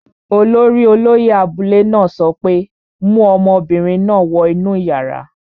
Olórí olóyẹ̀ abúlé náà sọ pé, 'mu ọmọbìnrin náà wọ inú yàrá!